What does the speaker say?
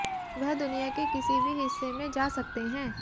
वह दुनिया के किसी भी हिस्से में जा सकते हैं